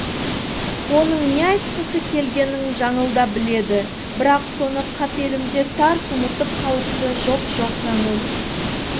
оның не айтқысы келгенін жаңыл да біледі бірақ соны қапелімде тарс ұмытып қалыпты жоқ жоқ жаңыл